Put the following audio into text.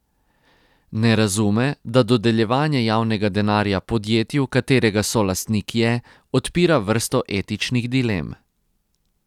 Ne razume, da dodeljevanje javnega denarja podjetju, katerega solastnik je, odpira vrsto etičnih dilem.